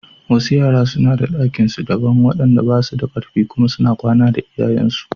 Wasu yaran suna da ɗakin kwanan su daban wanda basu da kar fi kuma suna kwana da iyayensu.